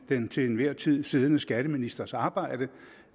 den til enhver tid siddende skatteministers arbejde